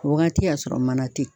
O wagati y'a sɔrɔ mana te yen